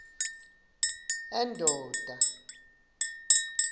endonda